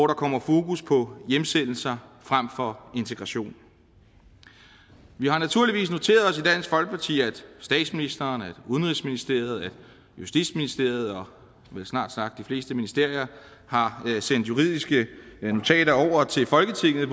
der kommer fokus på hjemsendelse frem for integration vi har naturligvis noteret os i dansk folkeparti at statsministeren at udenrigsministeriet at justitsministeriet og vel snart sagt de fleste ministerier har sendt juridiske notater over til folketinget